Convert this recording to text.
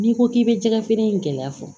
N'i ko k'i bɛ jɛgɛ feere in gɛlɛya fɔ